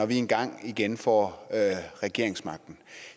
vi engang igen får regeringsmagten